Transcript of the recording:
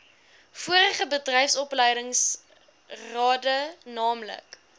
vorige bedryfsopleidingsrade naamlik